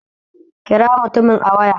Kira mutumin a waya